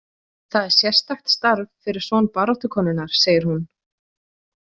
Það er sérstakt starf fyrir son baráttukonunnar, segir hún.